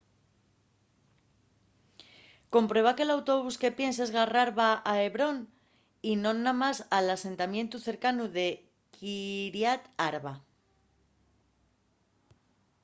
comprueba que l’autobús que pienses garrar va a hebrón y non namás al asentamientu cercanu de kiryat arba